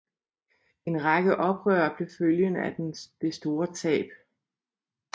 En række oprør blev følgen af det store tab